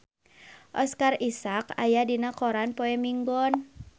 Oscar Isaac aya dina koran poe Minggon